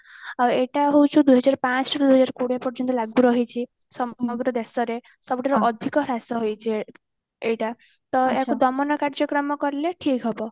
ଆଉ ଏଇଟା ହଉଚି ଦୁଇହଜାର ପାଞ୍ଚ ରୁ ଦୁଇହଜାର କୋଡିଏ ପର୍ଯ୍ୟନ୍ତ ଲାଗୁ ରହିଚି ସମଗ୍ର ଦେଶରେ ସବୁଠାରୁ ଅଧିକ ହ୍ରାଶ ହୋଇଛି ଏ ଏଇଟା ତ ୟାକୁ ଦମନ କାର୍ଯ୍ୟକ୍ରମ କଲେ ଠିକ ହବ